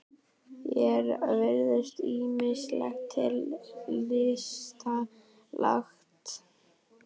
Þér virðist ýmislegt til lista lagt.